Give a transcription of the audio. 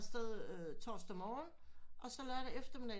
Tager afsted torsdag morgen og så lørdag eftermiddag